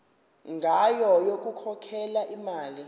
ngayo yokukhokhela imali